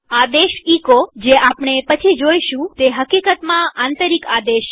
આદેશ એચો જે આપણે પછી જોઈશું તે હકીકતમાં આંતરિક આદેશ છે